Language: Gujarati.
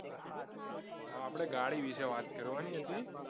આપણે ગાડી વિશે વાત કરવાની હતી